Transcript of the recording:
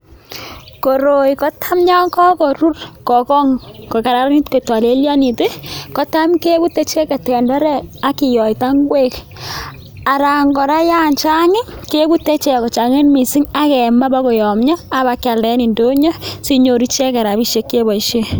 Koroi kotam yon kakorur kogong' kokaranit kotolelyonit, kotam kebute tenderek ak kiyoita ngwek anan kora yan chang' kebute ichek kochang'it missing akemaa bokoyomyo abakyalda en ndonyo sinyoru icheket rapisiek cheboisien.